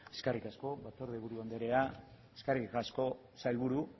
eskerrik asko batzordeburu andrea eskerrik asko sailburu